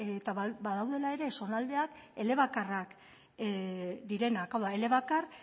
eta badaudela ere zonaldeak elebakarrak direnak hau da elebakar